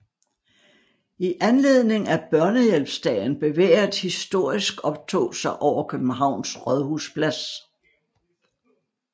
I anledning af Børnehjælpsdagen bevæger et historisk optog sig over Københavns rådhusplads